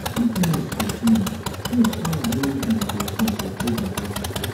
if noise go too much mek choir no use microphone for praise and worship